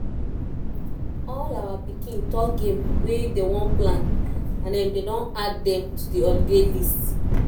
all our pikin talk game wey dey wan plan and dem don add dem to the holiday list